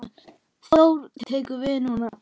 Þórir: Hvað tekur við núna?